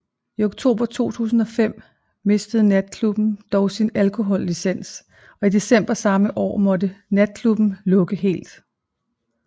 I oktober 2005 mistede natklubben dog sin alkohollicens og i december samme år måtte natklubben lukke helt